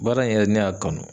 Baara in yɛrɛ ne y'a kanu